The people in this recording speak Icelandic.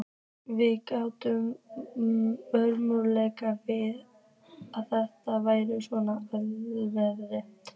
Við gátum ómögulega vitað að þetta væri svona alvarlegt.